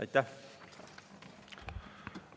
Aitäh!